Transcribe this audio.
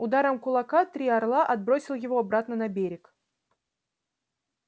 ударом кулака три орла отбросил его обратно на берег